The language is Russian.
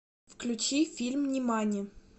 включи фильм нимани